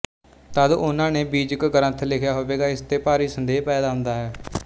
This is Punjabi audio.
ਤਦ ਉਹਨਾਂ ਨੇ ਬੀਜਕ ਗਰੰਥ ਲਿਖਿਆ ਹੋਵੇਗਾ ਇਸ ਤੇ ਭਾਰੀ ਸੰਦੇਹ ਪੈਦਾ ਹੁੰਦਾ ਹੈ